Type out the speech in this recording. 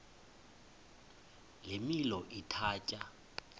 le milo ithatya